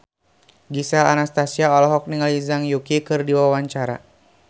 Gisel Anastasia olohok ningali Zhang Yuqi keur diwawancara